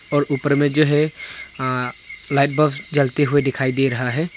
और ऊपर में जो है अ लाइट बल्ब्स जलते हुए दिखाई दे रहा है।